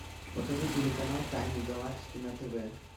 покажи телеканал тайны галактики на тв